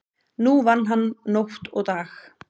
Nú vann hann nótt og dag.